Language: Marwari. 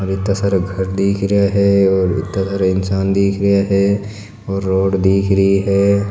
इत्ता सारा घर दिख रहा है और इत्ता सारा इंसान दिख रहा है और रोड दिख री है।